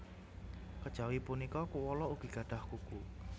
Kejawi punika koala ugi gadhah kuku